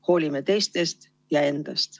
Hoolime teistest ja endast.